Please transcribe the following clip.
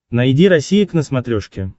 найди россия к на смотрешке